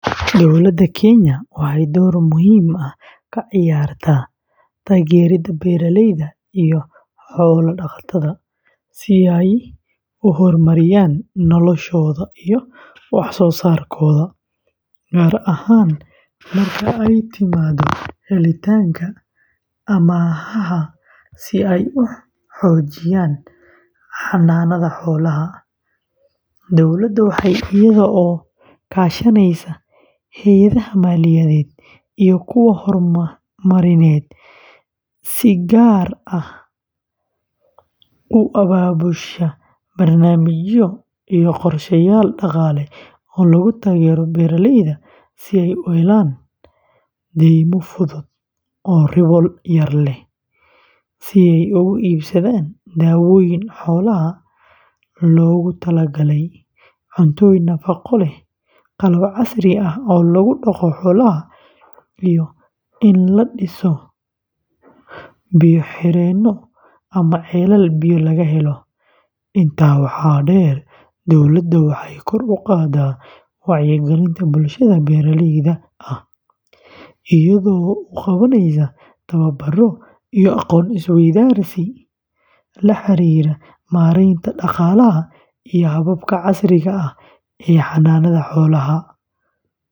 Dowladda Kenya waxay door muhiim ah ka ciyaartaa taageeridda beeraleyda iyo xoolo-dhaqatada si ay u horumariyaan noloshooda iyo wax-soo-saarkooda, gaar ahaan marka ay timaado helitaanka amaahaha si ay u xoojiyaan xanaanada xoolaha. Dowladda waxay iyada oo kaashanaysa hay'adaha maaliyadeed iyo kuwa horumarineed, si gaar ah u abaabushaa barnaamijyo iyo qorsheyaal dhaqaale oo lagu taageerayo beeraleyda si ay u helaan deymo fudud oo ribo yar leh, si ay ugu iibsadaan daawooyin xoolaha loogu tala galay, cuntooyin nafaqo leh, qalab casri ah oo lagu dhaqdo xoolaha, iyo in la dhiso biyo-xireenno ama ceelal biyo laga helo. Intaa waxaa dheer, dowladda waxay kor u qaadaa wacyigelinta bulshada beeraleyda ah iyada oo u qabanaysa tababaro iyo aqoon isweydaarsi la xiriira maaraynta dhaqaalaha iyo hababka casriga ah ee xanaanada xoolaha.